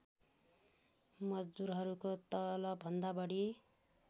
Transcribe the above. मजदुरहरूको तलबभन्दा बढी